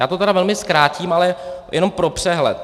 Já to tedy velmi zkrátím, ale jenom pro přehled.